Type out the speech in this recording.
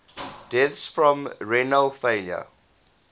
deaths from renal failure